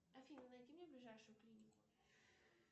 афина найди мне ближайшую клинику